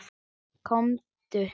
Komdu